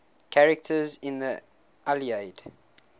characters in the iliad